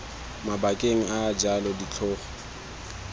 mabakeng a a jalo ditlhogo